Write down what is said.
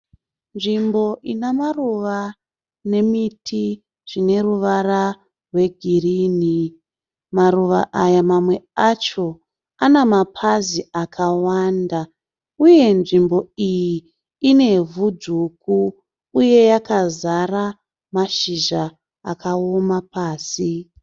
Nzvimbo ine maruva nemiti zvine ruvara rwegirinhi. Maruva aya mamwe acho ane mapazi akawanda uye nzvimbo iyi inevhu dzvuku uye yakazara mashizha akaoma pasi.